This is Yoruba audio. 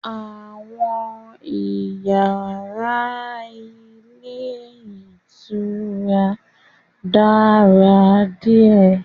Àwọn iyàrá ilé ìtura Èkó dára díè